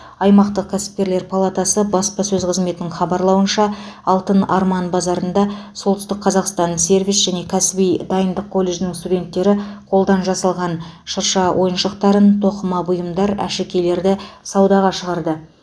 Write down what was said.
аймақтық кәсіпкерлер палатасы баспасөз қызметінің хабарлауынша алтын арман базарында солтүстік қазақстан сервис және кәсіби дайындық колледжінің студенттері қолдан жасаған шырша ойыншықтарын тоқыма бұйымдар әшекейлерді саудаға шығарды